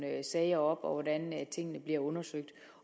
sager op og hvordan tingene bliver undersøgt